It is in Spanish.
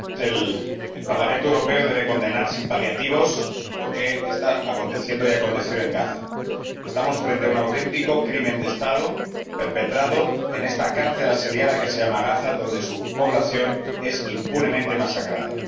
Señora Presidenta, el Parlamento Europeo debe condenar sin paliativos lo que está aconteciendo y ha acontecido en Gaza. Estamos frente a un auténtico crimen de Estado perpetrado en esta cárcel asediada que se llama Gaza, cuya población es impunemente masacrada.